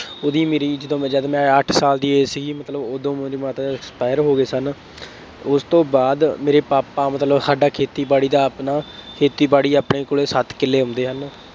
ਉੇਹਦੀ ਮੇਰੀ, ਜਦੋਂ ਮੈਂ, ਜਦ ਮੈਂ ਅੱਠ ਸਾਲ ਦੀ age ਸੀਗੀ, ਮਤਲਬ ਉਦੋਂ ਮੇਰੇ mother expire ਹੋ ਗਏ ਸਨ। ਉਸ ਤੋਂ ਬਾਅਦ ਮੇਰੇ ਪਾਪਾ ਮਤਲਬ ਸਾਡਾ ਖੇਤੀਬਾੜੀ ਦਾ ਆਪਣਾ, ਖੇਤੀਬਾੜੀ ਆਪਣੇ ਕੋਲੇ ਸੱਠ ਕਿੱਲੇ ਆਉਂਦੇ ਹਨ।